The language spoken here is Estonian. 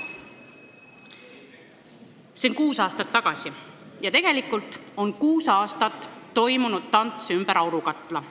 See oli kuus aastat tagasi ja pärast seda on kuus aastat toimunud tants ümber aurukatla.